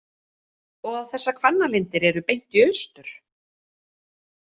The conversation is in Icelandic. Og þessar Hvannalindir eru beint í austur?